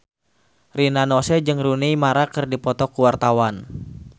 Rina Nose jeung Rooney Mara keur dipoto ku wartawan